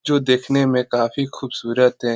जो देखने में काफी खूबसूरत है।